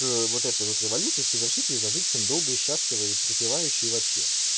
вот этой вот революции совершить её и зажить долго и счастливо и припеваючи и вообще